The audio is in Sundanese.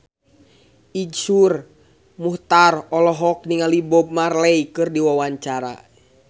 Iszur Muchtar olohok ningali Bob Marley keur diwawancara